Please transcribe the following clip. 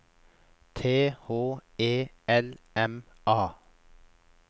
T H E L M A